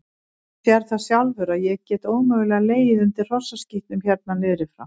Þú sérð það sjálfur að ég get ómögulega legið undir hrossaskítnum hérna niður frá.